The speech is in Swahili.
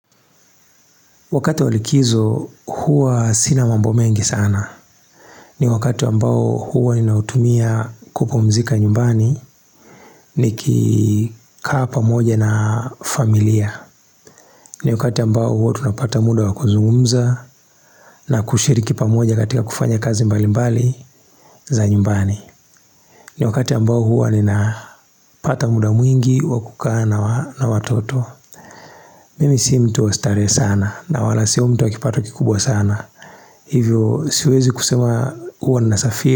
Wakati wa likizo, huwa sina mambo mengi sana. Ni wakati ambao huwa ninautumia kupumzika nyumbani, nikikaa pamoja na familia. Ni wakati ambao huwa tunapata muda wa kuzungumza, na kushiriki pamoja katika kufanya kazi mbali mbali za nyumbani. Ni wakati ambao huwa ninapata muda mwingi, wa kukaa na watoto. Mimi si mtu wa starehe sana, na wala si mtu wa kipato kikubwa sana. Hivyo siwezi kusema huwa na safiri.